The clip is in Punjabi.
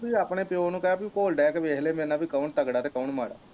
ਆਪਣੇ ਪੀਓ ਨੂੰ ਕਿਹ ਕਿ ਘੋਲ ਦੈ ਕ ਵੇਖਲਾ ਮੇਰੇ ਨਾ ਕ ਕੌਣ ਤਗੜਾ ਤੇ ਕੌਣ ਮਾੜਾ